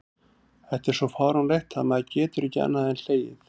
Þetta er svo fáránlegt að maður getur ekki annað en hlegið.